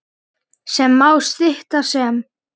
sem má stytta sem